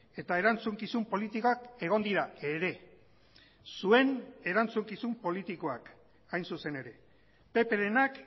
eta erantzukizun politikak egon dira ere zuen erantzukizun politikoak hain zuzen ere pprenak